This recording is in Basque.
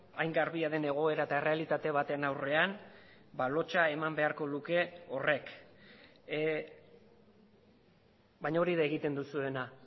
hain garbia den egoera eta errealitate baten aurrean lotsa eman beharko luke horrek baina hori da egiten duzuena